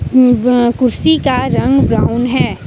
कुर्सी का रंग ब्राउन है।